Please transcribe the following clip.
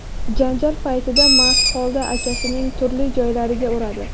janjal paytida mast holda akasining turli joylariga uradi.